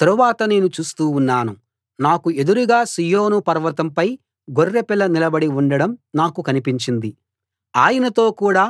తరువాత నేను చూస్తూ ఉన్నాను నాకు ఎదురుగా సీయోను పర్వతంపై గొర్రెపిల్ల నిలబడి ఉండడం నాకు కనిపించింది ఆయనతో కూడా